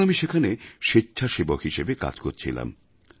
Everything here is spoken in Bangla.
তখন আমি সেখানে স্বেচ্ছাসেবক হিসেবে কাজ করছিলাম